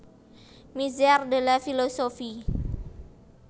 Misère de la philosophie